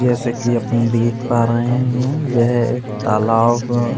जैसे कि अपन देख पा रहे हैं यह एक तालाब --